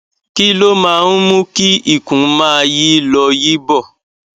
kí ló máa ń mú kí ikùn máa yí lọ yí bọ